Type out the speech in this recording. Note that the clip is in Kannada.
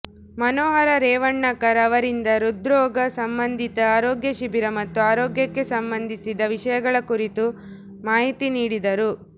ಮನೋಹರ ರೇವಣ್ಕರ್ ಅವರಿಂದ ಹೃದ್ರೋಗ ಸಂಬಂಧಿತ ಆರೋಗ್ಯ ಶಿಬಿರ ಮತ್ತು ಆರೋಗ್ಯಕ್ಕೆ ಸಂಬಂಧಿಸಿದ ವಿಷಯಗಳ ಕುರಿತು ಮಾಹಿತಿ ನೀಡಿದರು